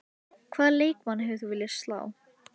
Hvaða leikmann hefðir þú viljað slá?